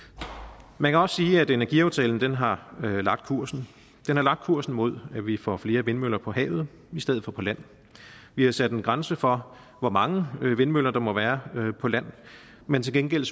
man kan også sige at energiaftalen har lagt kursen den har lagt kursen mod at vi får flere vindmøller på havet i stedet for på land vi har sat en grænse for hvor mange vindmøller der må være på land men til gengæld